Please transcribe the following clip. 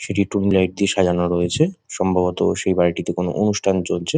সেটি ডুম লাইট দিয়ে সাজানো রয়েছে সম্ভবত সেই বাড়িটিতে কোনো অনুষ্ঠান চলছে।